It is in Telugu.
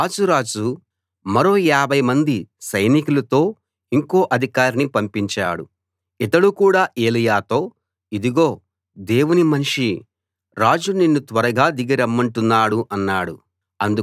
ఆహాజు రాజు మరో యాభై మంది సైనికులతో ఇంకో అధికారిని పంపించాడు ఇతడు కూడా ఎలీయాతో ఇదిగో దేవుని మనిషీ రాజు నిన్ను త్వరగా దిగి రమ్మంటున్నాడు అన్నాడు